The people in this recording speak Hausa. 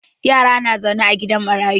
Yara na zaune a gidan marayu.